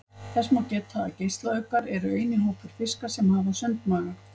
Þess má geta að geislauggar eru eini hópur fiska sem hafa sundmaga.